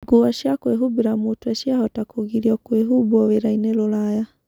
Nguo cia kwĩhumbira mutwe ciahota kũgirĩrio kwihubwo wĩraini Rũraya